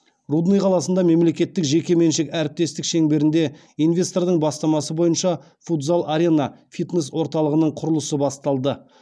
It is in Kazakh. рудный қаласында мемлекеттік жекеменшік әріптестік шеңберінде инвесторлардың бастамасы бойынша футзал арена фитнес орталығының құрылысы басталды